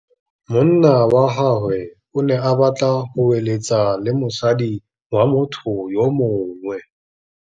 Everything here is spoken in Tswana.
Monna wa gagwe o ne a batla go êlêtsa le mosadi wa motho yo mongwe.